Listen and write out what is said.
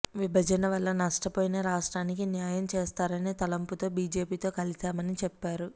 విభజన వల్ల నష్టపోయిన రాష్ట్రానికి న్యాయం చేస్తారనే తలంపుతో బీజేపీతో కలిశామని చెప్పారు